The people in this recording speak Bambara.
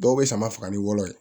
Dɔw bɛ sama faga ni wɔlɔ ye